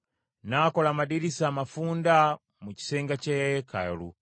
N’akola amadirisa amafunda mu kisenge kya yeekaalu.